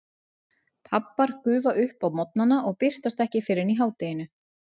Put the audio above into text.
Pabbar gufa upp á morgnana og birtast ekki fyrr en í hádeginu.